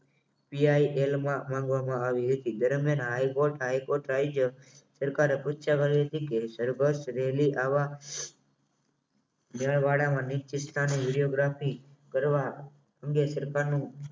PIL માં માંગવામાં આવી હતી દરમિયાન હાઇકોર્ટ હાઇકોર્ટ સરકારે પૂછ્યા વગરની હતી કે રેલી આવા નીચે સ્થાને વિડીયોગ્રાફી કરવા અંગે સરકારનો